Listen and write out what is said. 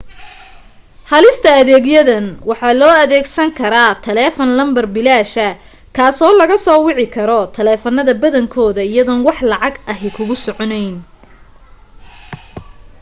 helista adeegyadan waxa loo adeegsan karaa taleefan lambar bilaasha kaasoo laga soo wici karo taleefanada badankooda iyadoon wax lacag ahi kugu soconeyn